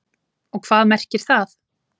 Og hvað merkir það?